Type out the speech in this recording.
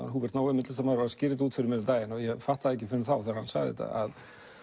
Húbert Nói myndlistarmaður var að skýra þetta út fyrir mér um daginn og ég fattaði ekki fyrr en þá að